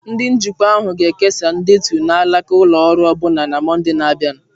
Ndị njikwa ahụ ga-ekesa ndetu na alaka ụlọ ọrụ ọbụna na Mọnde na-abịa.